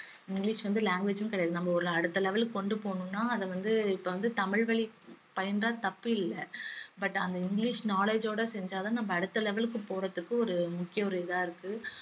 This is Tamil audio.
இங்கிலிஷ் வந்து language ம் கிடையாது நம்ம ஒரு அடுத்த level க்கு கொண்டு போணும்னா அத வந்து இப்ப வந்து தமிழ் வழி பயின்றா தப்பில்ல but அந்த இங்கிலிஷ் knowledge ஓட செஞ்சா தான் நம்ம அடுத்த level க்கு போறதுக்கு ஒரு முக்கிய ஒரு இதா இருக்கு